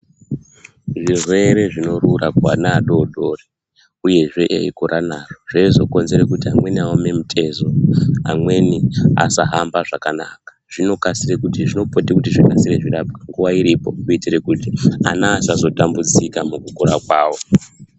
Zvirwere zvinorura kuana adodori uyezve eikura nazvo zveizokonzere kuti amweni aome mitezo amweni asahamba zvakanaka zvinopote kuti zvikasire zvirapwe nguva iripo kuitire kuti ana asazotambudzika mukukura mavo.